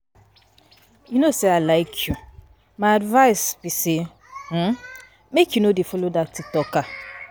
You no say I like you, my advice be say make um you no dey follower dat tiktoker.